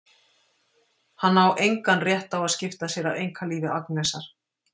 Hann á engan rétt á að skipta sér af einkalífi Agnesar.